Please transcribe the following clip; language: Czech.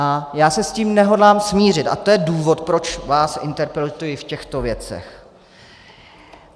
A já se s tím nehodlám smířit a to je důvod, proč vás interpeluji v těchto věcech.